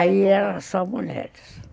Aí eram só mulheres.